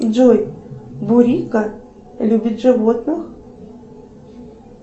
джой бурика любит животных